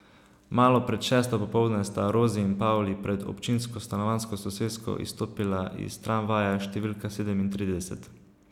Malo pred šesto popoldne sta Rozi in Pavli pred občinsko stanovanjsko sosesko izstopila iz tramvaja številka sedemintrideset.